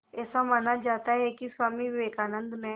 ऐसा माना जाता है कि स्वामी विवेकानंद ने